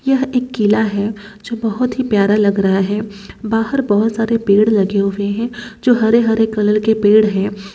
यह एक किला है जो बहुत ही प्यारा लग रहा है बाहर बहुत सारे पेड़ लगे हुए हैं जो हरे-हरे कलर के पेड़ हैं।